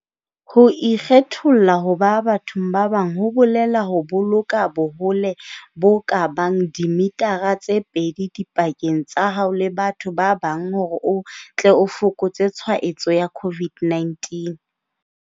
Ho ikgetholla ho ba bathong ba bang ho bolela ho boloka bohole bo ka bang dimitara tse pedi dipakeng tsa hao le batho ba bang hore o tle o fokotse tshwaetso ya COVID-19.